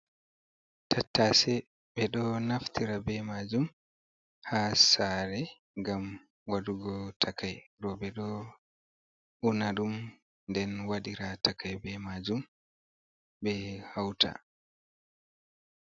Tattase ɓe ɗo naftira ɓe majum ha sare ngam wadugo takai, roɓe ɗo una dum den wadira takai ɓe majum ɓe hauta.